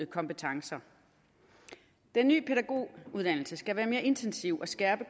kompetencer den nye pædagoguddannelse skal være mere intensiv og skærpe